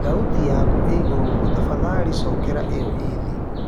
thaũtĩ yakũ iiĩgũrũ mũno tafadhalĩ cokera io ii thĩĩ